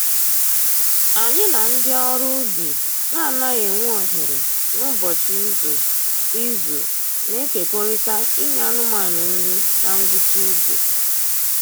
Anyị na ndị ọrụ ubi na-anaghị enwe ohere n'ụbọchị izu izu na-ekerikọta inye anụmanụ nri na ngwụcha izu